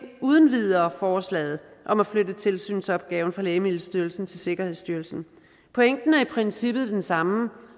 uden videre forslaget om at flytte tilsynsopgaven fra lægemiddelstyrelsen til sikkerhedsstyrelsen pointen er i princippet den samme